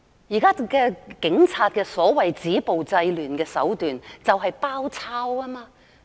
現時警察的所謂"止暴制亂"手段就是"包抄"。